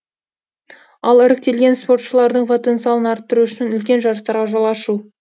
ал іріктелген спортшылардың потенциалын арттыру үшін үлкен жарыстарға жол ашу